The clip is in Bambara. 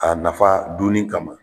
A nafa dunni kama